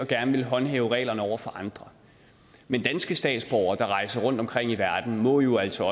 at ville håndhæve reglerne over for andre men danske statsborgere der rejser rundt omkring i verden må jo altså